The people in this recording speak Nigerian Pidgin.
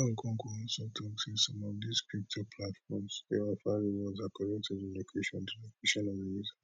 oga okonkwo also tok say some of dis crypto platforms dey offer rewards according to di location di location of di user